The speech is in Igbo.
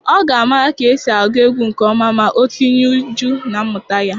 Ọ ga-amara ka esi agụ egwu nke ọma ma o tinye uju na mmụta ya.